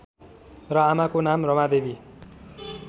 र आमाको नाम रमादेवी